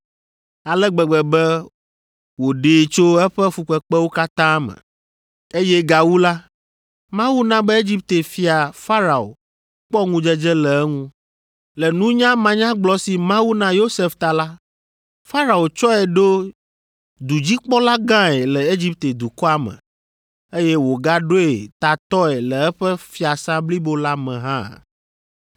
ale gbegbe be wòɖee tso eƒe fukpekpewo katã me, eye gawu la, Mawu na be Egipte Fia Farao kpɔ ŋudzedze le eŋu. Le nunya manyagblɔ si Mawu na Yosef ta la, Farao tsɔe ɖo dudzikpɔla gãe le Egipte dukɔa me, eye wògaɖoe tatɔe le eƒe fiasã blibo la me hã.